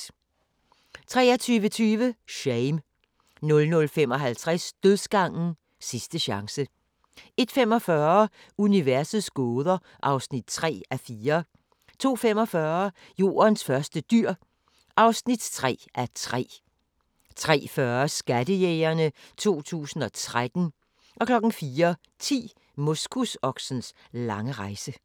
23:20: Shame 00:55: Dødsgangen – Sidste chance 01:45: Universets gåder (3:4) 02:45: Jordens første dyr (3:3) 03:40: Skattejægerne 2013 04:10: Moskusoksens lange rejse